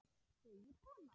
segir konan.